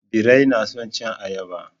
Birai na son cin ayaba.